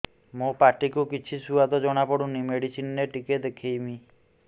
ମୋ ପାଟି କୁ କିଛି ସୁଆଦ ଜଣାପଡ଼ୁନି ମେଡିସିନ ରେ ଟିକେ ଦେଖେଇମି